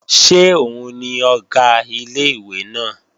Ṣé òun ni Ọ̀gá ilé-ìwé náà?